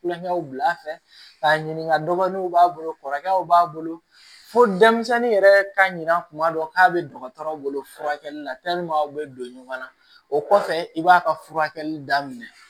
Kulonkɛw bila fɛ k'a ɲininka dɔgɔw b'a bolo kɔrɔkɛw b'a bolo fo denmisɛnnin yɛrɛ ka ɲina tuma dɔ k'a bɛ dɔgɔtɔrɔw bolo furakɛli la u bɛ don ɲɔgɔnna o kɔfɛ i b'a ka furakɛli daminɛ